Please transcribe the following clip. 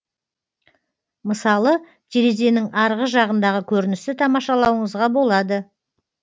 мысалы терезенің арғы жағындағы көріністі тамашалауыңызға болады